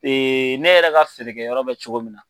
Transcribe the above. ne yɛrɛ ka feere kɛ yɔrɔ bɛ cogo min na.